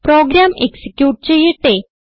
programme execute ചെയ്യട്ടെ